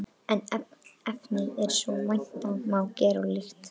En efnið er, sem vænta má, gerólíkt.